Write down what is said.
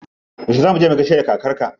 Yauce za muje mu gaishe da kakar ka?